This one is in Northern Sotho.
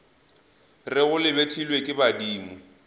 rego le betlilwe ke badimo